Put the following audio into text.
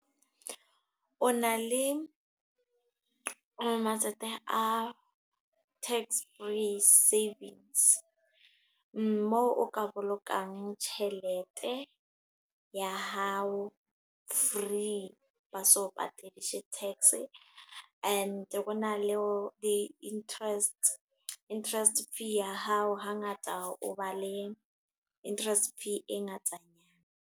O na le matsatsi a tax-free savings. Moo o ka bolokang tjhelete, ya hao free ba sa o patadise tax. E ne ho na le di interest, interest fee ya hao. Hangata o ba le interest fee e ngatanyana.